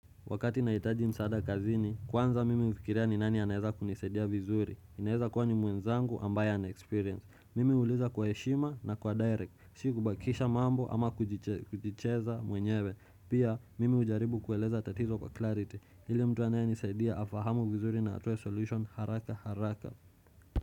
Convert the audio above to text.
Wakati naitaji msaada kazini, kwanza mimi ufikiria ni nani anaeza kunisaidia vizuri. Inaeza kuwa ni mwenzangu ambaye anexperience. Mimi huliza kwa eshima na kwa direct. Si kubakisha mambo ama kujicheza mwenyewe. Pia, mimi ujaribu kueleza tatizo kwa clarity. Ili mtu anaye nisaidia afahamu vizuri na atue solution haraka haraka.